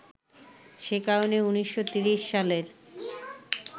সে কারণেই ১৯৩০ সালের